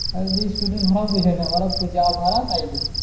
আহ student এর ভাড়া বিষয় না ওরা যা ভাড়া তাই নিবে